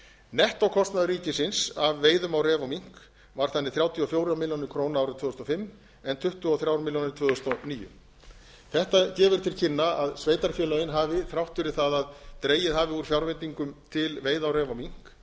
nettókostnaður ríkisins af veiðum á ref og mink var þannig þrjátíu og fjórar milljónir króna árið tvö þúsund og fimm en tuttugu og þrjár milljónir tvö þúsund og níu þetta gefur til kynna að sveitarfélögin hafi þrátt fyrir það að dregið hafi úr fjárveitingum til veiða á ref og mink